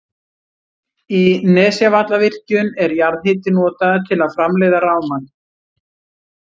Í Nesjavallavirkjun er jarðhiti notaður til að framleiða rafmagn.